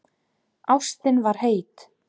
Ástin var heit.